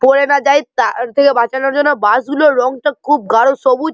ক্ষয়ে না যায় তার থেকে বাঁচানোর জন্য বাঁশগুলোর রঙ তো খুব গাড়ো সবুজ।